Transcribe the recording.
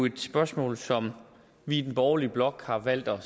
et spørgsmål som vi i den borgerlige blok har valgt at